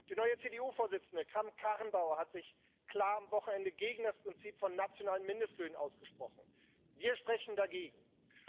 Die neue CDU-Vorsitzende Kramp Karrenbauer hat sich klar am Wochenende gegen das Prinzip von nationalen Mindestlöhnen ausgesprochen wir sind für dieses Prinzip.